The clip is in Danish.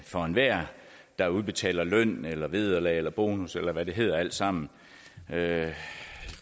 for enhver der udbetaler løn eller vederlag eller bonus eller hvad det hedder alt sammen